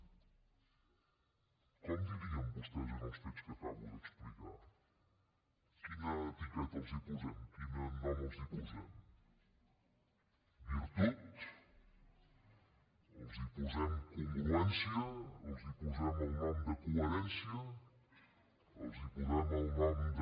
com en dirien vostès dels fets que acabo d’explicar quina etiqueta els posem quin nom els posem virtut els posem congruència els posem el nom de coherència els posem el nom de